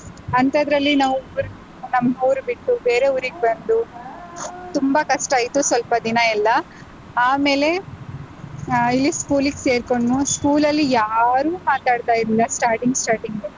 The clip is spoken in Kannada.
ಅಂತದ್ರಲ್ಲಿ ನಾವ್ ಊರ್ ಬಿಟ್ಟು ನಮ್ಮ್ ಊರ್ ಬಿಟ್ಟು ಬೇರೆ ಊರಿಗ್ ಬಂದು ತುಂಬಾ ಕಷ್ಟ ಆಯ್ತು ಸ್ವಲ್ಪ ದಿನ ಎಲ್ಲಾ ಆಮೇಲೆ ಆಹ್ ಇಲ್ಲಿ school ಗೆ ಸೇರ್ಕೊಂಡು, school ಅಲ್ಲಿ ಯಾರೂ ಮಾತಾಡ್ತಾ ಇರ್ಲಿಲ್ಲ starting starting .